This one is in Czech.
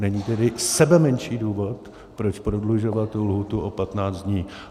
Není tedy sebemenší důvod, proč prodlužovat tu lhůtu o 15 dní.